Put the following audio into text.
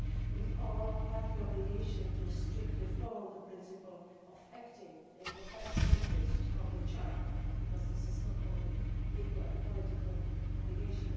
We all have the obligation to strictly follow the principle of acting in the best interests of the child, because this is not only a legal and political obligation